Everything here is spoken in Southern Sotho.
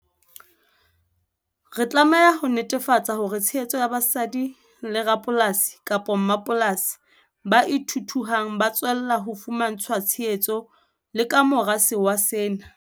Re tlameha ho netefatsa hore tshehetso ya basadi le rapolasi, kapa mmapolasi ba ithuthuhang ba tswella ho fumantshwa tshehetso le ka mora sewa sena.